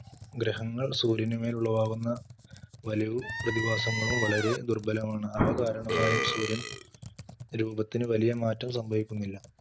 ഗ്രഹങ്ങൾ സൂര്യനമേൽ ഉളവാകുന്ന വലയവും പ്രതിഭാസങ്ങളും വളരെ ദുർബലമാണ് അവകാരണമായും സൂര്യൻ രൂപത്തിന് വലിയ മാറ്റം സംഭവിക്കുന്നില്ല.